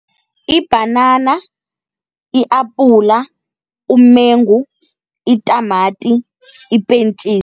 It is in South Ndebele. Ibhanana, i-apula, umengu, itamati, ipentjisi.